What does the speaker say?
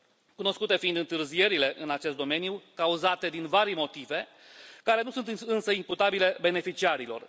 cunoscute fiind întârzierile în acest domeniu, cauzate din varii motive, care nu sunt însă imputabile beneficiarilor.